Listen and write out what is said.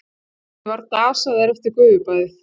Ég var dasaður eftir gufubaðið.